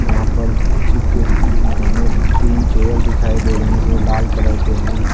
वहा पर तीन चेयर दिखाई दे रहे है। जो लाल कलर के हैं।